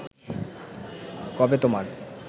কবে তোমার